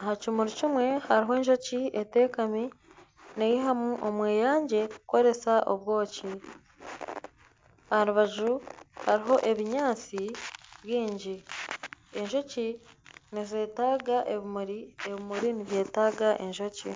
aha kimuri kimwe haruho enjoki etekami neyihamu omweyangye kukoresa obwoki aha rubaju hariho ebinyatsi byingi. Enjoki nizetaaga ebimuri, ebimuri nibyetaaga enjoki.